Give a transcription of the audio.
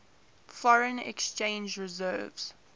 foreign exchange reserves